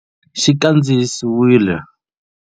Xi kandziyisiwile.